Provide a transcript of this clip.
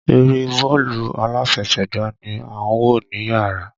Eré bọ́ọ̀lù aláfẹsẹ̀gbá ni à ń wò níyàrá.